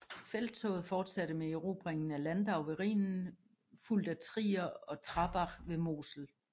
Felttoget fortsatte med erobringen af Landau ved Rhinen fulgt af Trier og Trarbach ved Mosel